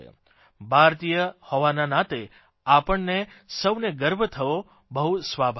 ભારતીય હોવાના નાતે આપણને સૌને ગર્વ થવો બહુ સ્વાભાવિક છે